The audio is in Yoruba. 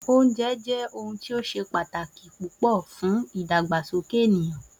Oúnje jé̩ ohun ti ó s̩e pàtàkì púpò̩ fún ìdàgbàsókè ènìyàn